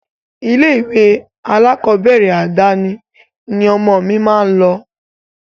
Ilé-ìwé alákọ̀ọ́bẹ̀rẹ̀ àdáni ni ọmọ mi máa lọ.